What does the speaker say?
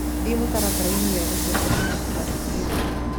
thie mũtaratara ini wethe sesheni ya classic redĩo